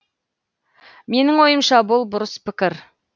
менің ойымша бұл бұрыс пікір